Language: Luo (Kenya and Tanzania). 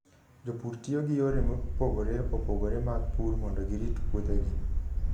Jopur tiyoga gi yore mopogore opogore mag pur mondo girit puothegi.